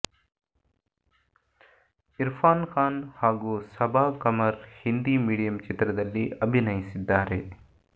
ಇರ್ಫಾನ್ ಖಾನ್ ಹಾಗೂ ಸಬಾ ಕಮರ್ ಹಿಂದಿ ಮೀಡಿಯಂ ಚಿತ್ರದಲ್ಲಿ ಅಭಿನಯಿಸಿದ್ದಾರೆ